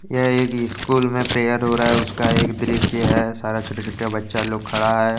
यह एक स्कूल में प्रेयर हो रहा है उसका यह दृश्य है सारा छोटे छोटे बच्चा लोग खड़ा है।